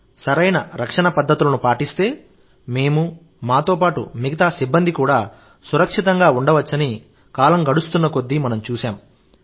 కానీ సరైన రక్షణ పద్ధతులను పాటిస్తే మేము మాతో పాటు మిగతా సిబ్బంది కూడా సురక్షితంగా ఉండవచ్చని కాలం గడుస్తున్న కొద్దీ మనం చూశాం